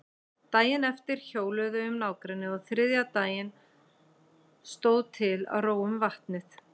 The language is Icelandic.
Daginn eftir hjóluðu þau um nágrennið og þriðja daginn stóð til að róa um vatnið.